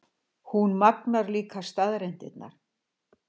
Hún magnar líka staðreyndirnar.